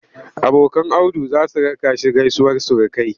Abokan Audu za su raka shi gaisuwar surukai.